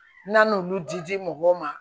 N'an n'olu di mɔgɔw ma